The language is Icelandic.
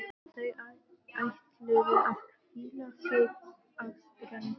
Þau ætluðu að hvíla sig á ströndinni.